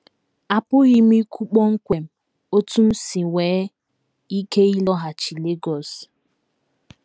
Apụghị m ikwu kpọmkwem otú m si nwee ike ịlọghachi Lagos.